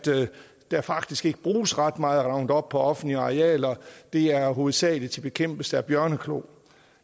der faktisk ikke bruges ret meget roundup på offentlige arealer det er hovedsagelig til bekæmpelse af bjørneklo